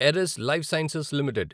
Eris Life Sciences limited